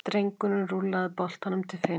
Drengurinn rúllaði boltanum til Finns.